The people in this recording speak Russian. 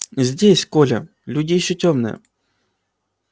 здесь коля люди ещё тёмные